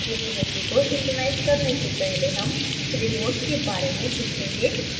repository को synchronise करने से पहले हम remotes के बारे में सीखेंगे